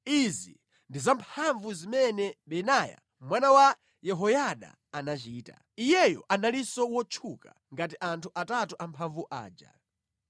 Izi ndi zamphamvu zimene Benaya mwana wa Yehoyada anachita. Iyeyo analinso wotchuka ngati anthu atatu amphamvu aja.